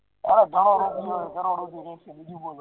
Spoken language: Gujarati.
હવ ધનો રૂપયો હે કરોડો બીજુ બોલો